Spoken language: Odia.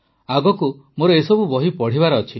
ଆଗକୁ ମୋର ଏସବୁ ବହି ପଢ଼ିବାର ଅଛି